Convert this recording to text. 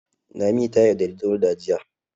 Lami ta yaudari Dauda jiya.